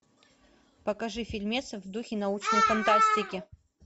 покажи фильмец в духе научной фантастики